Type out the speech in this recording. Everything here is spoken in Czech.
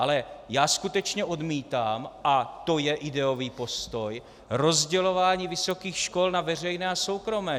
Ale já skutečně odmítám, a to je ideový postoj, rozdělování vysokých škol na veřejné a soukromé.